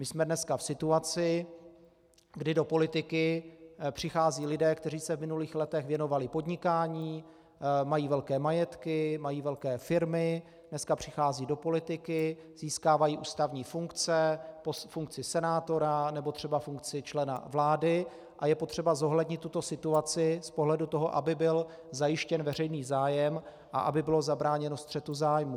My jsme dneska v situaci, kdy do politiky přicházejí lidé, kteří se v minulých letech věnovali podnikání, mají velké majetky, mají velké firmy, dneska přicházejí do politiky, získávají ústavní funkce, funkci senátora nebo třeba funkci člena vlády, a je potřeba zohlednit tuto situaci z pohledu toho, aby byl zajištěn veřejný zájem a aby bylo zabráněno střetu zájmů.